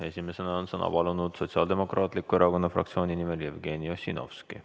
Esimesena on Sotsiaaldemokraatliku Erakonna fraktsiooni nimel sõna palunud Jevgeni Ossinovski.